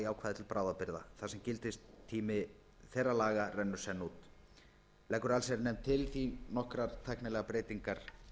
ákvæði til bráðabirgða þar sem gildistími þeirra rennur senn út leggur allsherjarnefnd því til nokkrar tæknilegar breytingar